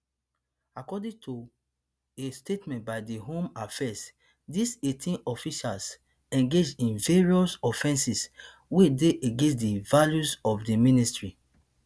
according to a statement by di home affairs dis eighteen officials engage in various offences wey dey against di values of di ministry